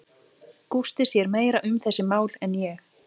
Gústi sér meira um þessi mál en ég.